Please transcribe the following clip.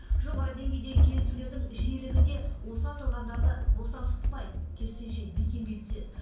жоғары деңгейдегі кездесулердің жиілігі де осы аталғандарды босаңсытпайды керісінше бекемдей түседі